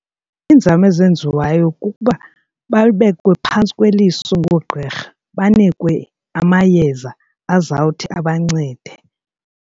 Iinzame ezenziwayo kukuba babekwe phantsi kweliso ngoogqirha, banikwe amayeza azawuthi abancede.